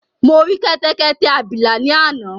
Mo rí kẹ́tẹ́kẹ́tẹ́ abìlà ni àná